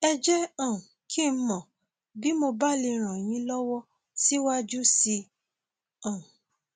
ẹ jẹ um kí n mọ bí mo bá lè ràn yín lọwọ síwájú sí um i